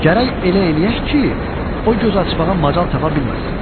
Gərək elə eləyək ki, o göz açmağa macal tapa bilməsin.